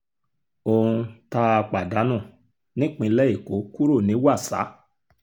ohun tá a pàdánù nípínlẹ̀ èkó kúrò ní wàsà